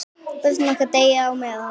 Börnin okkar deyja á meðan.